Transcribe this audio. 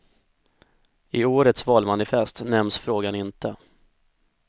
I årets valmanifest nämns frågan inte.